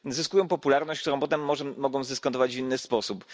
Zyskują popularność, którą potem mogą zdyskontować w inny sposób.